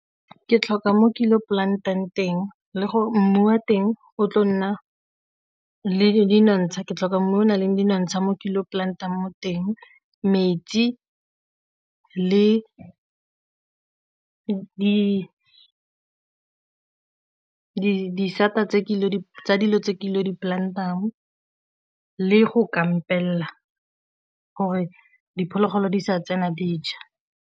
Ke tlhoka mo ke plant-ang teng le gore mmu wa teng o tlo nna le dinontsha, ke tlhoka mmu o nang le menontsha mo plant-ang mo teng, metsi le disata tsa dilo tse di-plant-ang le go kampela gore diphologolo di sa tsena dija.